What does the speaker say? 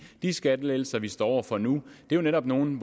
skattelettelser vi står over for nu er jo netop nogle